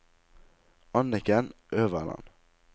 Anniken Øverland